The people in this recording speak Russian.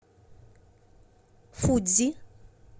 фудзи